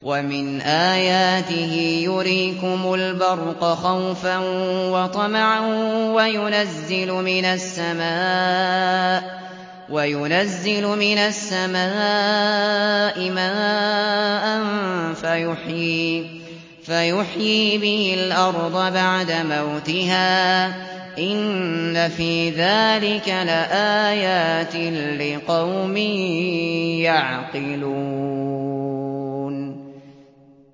وَمِنْ آيَاتِهِ يُرِيكُمُ الْبَرْقَ خَوْفًا وَطَمَعًا وَيُنَزِّلُ مِنَ السَّمَاءِ مَاءً فَيُحْيِي بِهِ الْأَرْضَ بَعْدَ مَوْتِهَا ۚ إِنَّ فِي ذَٰلِكَ لَآيَاتٍ لِّقَوْمٍ يَعْقِلُونَ